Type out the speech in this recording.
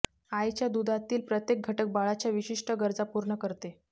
आईच्या दुधातील प्रत्येक घटक बाळाच्या विशिष्ट गरजा पूर्ण करते